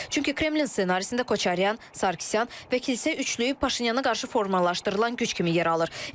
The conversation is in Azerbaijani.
Çünki Kremlinsində Koçaryan, Sarkisyan və kilsə üçlüyü Paşinyana qarşı formalaşdırılan güc kimi yer alır.